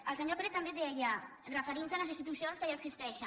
el senyor pérez també deia referint se a les institu cions que ja existeixen